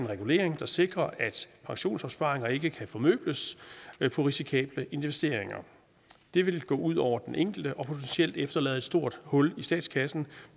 regulering der sikrer at pensionsopsparinger ikke kan formøbles på risikable investeringer det ville gå ud over den enkelte og potentielt efterlade et stort hul i statskassen